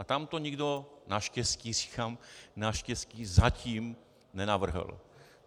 A tam to nikdo, naštěstí říkám, naštěstí zatím, nenavrhl.